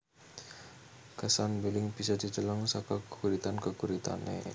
Kesan mbeling bisa dideleng saka geguritan geguritane